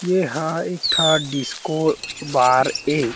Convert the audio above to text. एहाँ एक ठा डिस्को बार ऐ--